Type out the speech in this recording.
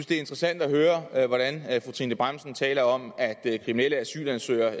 det er interessant at høre hvordan fru trine bramsen taler om at kriminelle asylansøgere